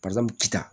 Barisa n ci ta